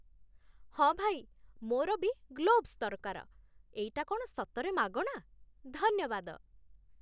ହଁ ଭାଇ, ମୋର ବି ଗ୍ଲୋଭସ୍ ଦରକାର । ଏଇଟା କ'ଣ ସତରେ ମାଗଣା? ଧନ୍ୟବାଦ!